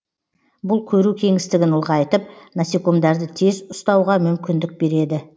бұл көру кеңістігін ұлғайтып насекомдарды тез ұстауға мүмкіндік береді